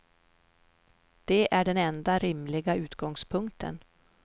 Det är den enda rimliga utgångspunkten.